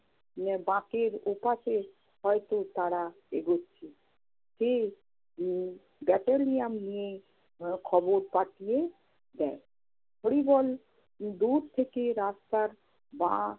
বাঁকের ওপাশে হয়ত তারা এগুচ্ছে। সে উম battalion নিয়ে আহ খবর পাঠিয়ে দেয়। হরিবল. দূর থেকে রাস্তার বাঁ